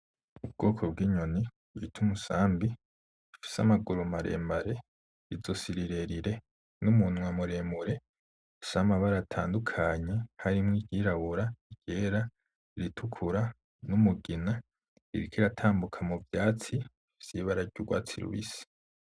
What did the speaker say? Ubwoko bw'inyoni bita umusambi ifise amaguru mare mare izosi rirerire, n'umunwa mure mure ifise amabara atadunkanye harimwo iryirabura, iryera, iritukura, n'umugima, iriko iratambuka mu vyatsi vy'ibara ry'urwatsi rubisi.